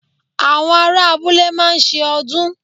Àwọn ará abúlé máa ń se ọdún